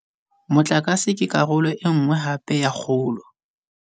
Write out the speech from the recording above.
Motlakase ke karolo e nngwe hape ya kgolo.